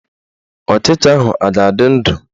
Ọchịcha ahụ a ga-adị ndụ?